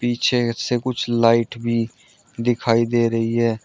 पीछे से कुछ लाइट भी दिखाई दे रही है।